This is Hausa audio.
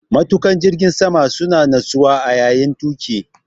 Matuƙan jirgin sama suna natsuwa a yayin tuƙi.